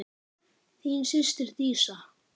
Þín systir Dísa.